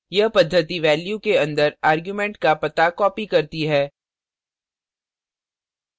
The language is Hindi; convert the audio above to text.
यह पद्धति value के अंदर argument का पता copies करती है